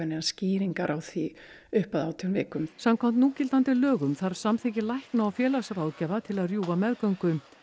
neinar skýringar á því upp að átján vikum samkvæmt núgildandi lögum þarf samþykki lækna og félagsráðgjafa til að rjúfa meðgöngu